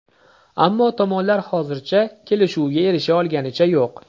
Ammo tomonlar hozircha kelishuvga erisha olganicha yo‘q.